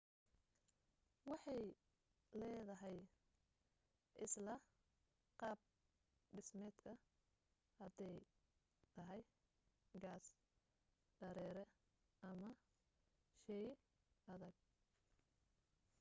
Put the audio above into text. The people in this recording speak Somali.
waxay leedahay isla qaab dhismeedka haday tahay gas dareere ama shey adag